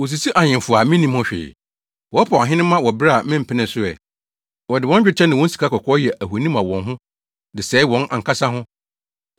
Wosisi ahemfo a minnim ho hwee, wɔpaw ahenemma wɔ bere a mempenee so ɛ. Wɔde wɔn dwetɛ ne wɔn sikakɔkɔɔ yɛ ahoni ma wɔn ho de sɛe wɔn ankasa ho.